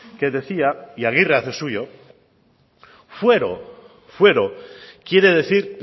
que decía y aguirre hace suyo fuero fuero quiere decir